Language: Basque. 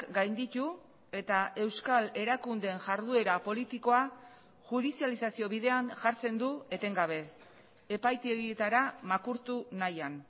gainditu eta euskal erakundeen jarduera politikoa judizializazio bidean jartzen du etengabe epaitegietara makurtu nahian